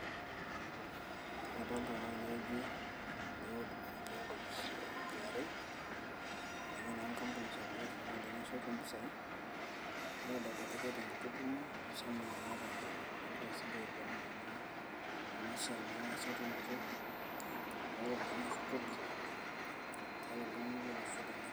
kadolta naa tenewueji ajo etii enkopis e KRA aa ninye naa enkampuni sapuk e sirkali nasotu impisai nikidolita ajo keeta enkiti tumo ashu seminar naata naa nagira siininche aiguanare naa ena siai naa esotunoto oo ropiyiani ashu kodi tiatua iltung'anak lolosho lenye.